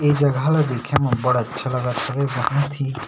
ए जगह ला देखे मे बड़ अच्छा लगत हवे बहुत ही--